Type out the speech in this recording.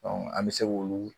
an bɛ se k'ulu